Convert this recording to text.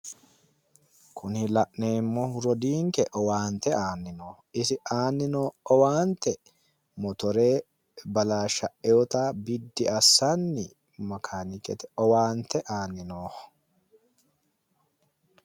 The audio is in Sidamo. Kuni la'neemmohu owaante aanni noonke. Isi aanni noo owaante motore balashsha'iwota biddi assanni makaanikete owaante aanni nooho.